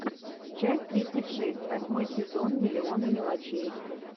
часть тридцать шесть восьмой сезон миллиона мелочей